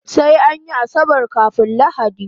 Sai anyi asabar kafun lahadi